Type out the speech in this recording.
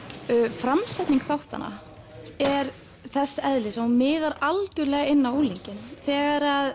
framsetning þáttanna er þess eðlis að hún miðar algjörlega inn á unglinginn þegar